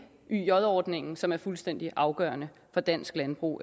yj ordningen som er fuldstændig afgørende for dansk landbrug